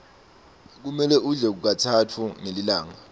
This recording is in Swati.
kumele udle katsatfu ngelilanga